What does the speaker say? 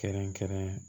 Kɛrɛnkɛrɛn